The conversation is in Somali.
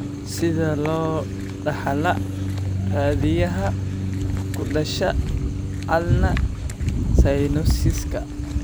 Sidee loo dhaxlaa raadiyaha ku dhasha ulnar synososiska?